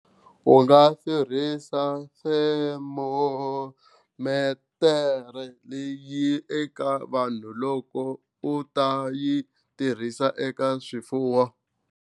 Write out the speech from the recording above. U nga tirhisi thermometer leyi eka vanhu loko u ta yi tirhisa eka swifuwo.